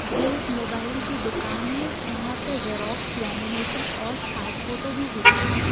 ये एक मोबाइल की दुकान है जहां पर जेरॉक्स लेमिनेशन और पासपोटो भी होता है।